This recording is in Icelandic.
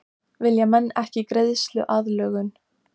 Vilja menn ekki greiðsluaðlögun?